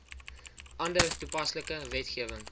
ander toepaslike wetgewing